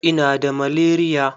Ina da malaria.